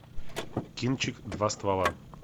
кинчик два ствола